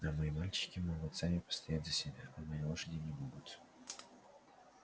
но мои мальчики могут сами постоять за себя а мои лошади не могут